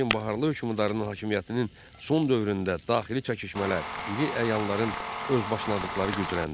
Lakin Baharlı hökmdarının hakimiyyətinin son dövründə daxili çəkişmələr, iri əyanların özbaşınalıqları gücləndi.